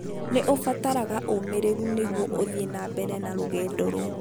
Nĩ ũvataraga ũmĩrĩru nĩguo ũthiĩ na mbere na rũgendo rũu.